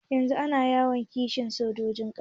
Yanzun ana yawan kashe sojojin ƙasa